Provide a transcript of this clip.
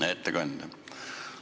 Hea ettekandja!